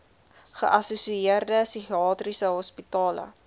geassosieerde psigiatriese hospitale